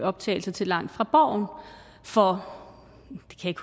optagelser til langt fra borgen for